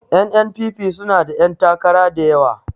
N.N.P.P suna da 'yantakara da yawa